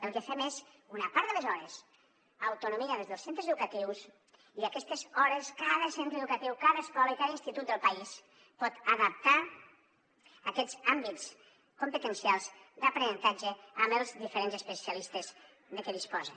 el que fem és una part de les hores autonomia des dels centres educatius i aquestes hores cada centre educatiu cada escola i cada institut del país pot adaptar aquests àmbits competencials d’aprenentatge amb els diferents especialistes de què disposen